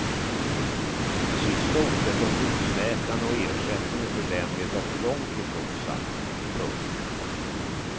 Det sista ordet om husläkarna och ersättningen för dem är dock långtifrån sagt. punkt